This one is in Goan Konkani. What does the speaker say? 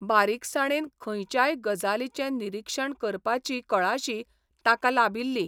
बारीकसाणेन खंयच्याय गजालीचें निरीक्षण करपाची कळाशी ताका लाबिल्ली.